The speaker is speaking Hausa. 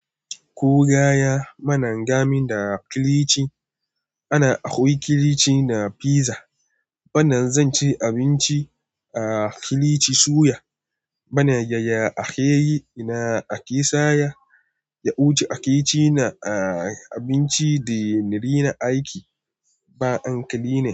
Ko gaya mana gamin da kilichi. Ana hawa kilichi na fiza. Bana zan ci abinci a kilichi suya. Bana yaya ake yi na ake saya. Ya wuce ake cina a abinci da ni rina aiki. Ba an kalina.